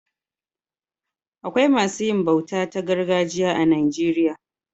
Akwai masu yin bauta ta gargajiya a Najeriya.